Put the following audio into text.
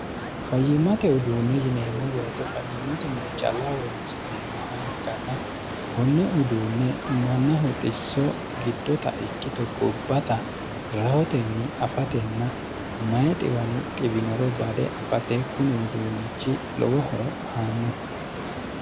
fayyimmate uduunne yineemmo woyite fayyimate mine calla horoonsineemmoha hikkanna konne uduunne mannaho xisso giddota ikki toggoubbata rahotenni afatenna maya xiwani xiwinoro bade afate kuni uduunnichi lowohoro aanno